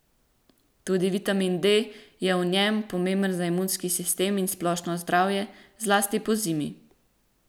Tudi vitamin D je v njem, pomemben je za imunski sistem in splošno zdravje, zlasti pozimi.